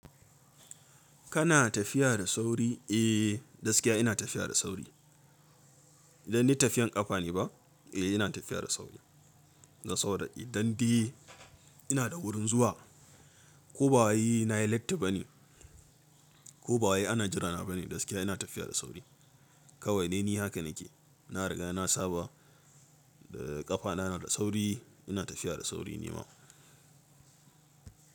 Kana tafiya da sauri? Eh, gaskiya ina tafiya da sauri. Dan ni tafiyan kafa ne ba? Eh ina tafiya da sauri. Don saboda. Dan dai ina da wurin zuwa. Ko ba wai nayi latti ba ne. Ko ba wai ana jira na ba ne. Gaskiya ina tafiya da sauri. Kawai dai ni haka nake. Na riga na saba da ƙafa na, yana da sauri. Ina tafiya da sauri nima.